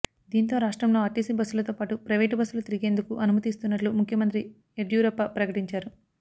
దీంతో రాష్ట్రంలో ఆర్టీసీ బస్సులతో పాటు ప్రైవేటు బస్సులు తిరిగేందుకు అనుమతి ఇస్తున్నట్లు ముఖ్యమంత్రి యడ్యూరప్ప ప్రకటించారు